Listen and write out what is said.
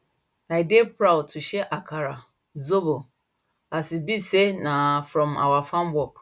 i dey proud to share akara zobo as e be say na from our farm work